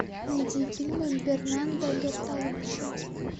найди фильмы бернардо бертолуччи